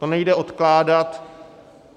To nejde odkládat.